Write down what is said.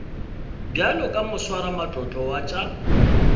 bjalo ka moswaramatlotlo wa tša